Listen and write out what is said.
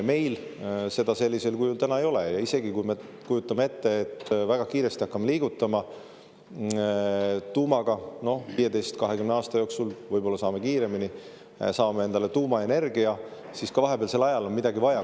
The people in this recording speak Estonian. Meil seda sellisel kujul täna ei ole ja isegi kui me kujutame ette, et me väga kiiresti hakkame liigutama tuumaga ja 15–20 aasta jooksul – võib-olla ka kiiremini – saame endale tuumaenergia, siis ka vahepealsel ajal on midagi vaja.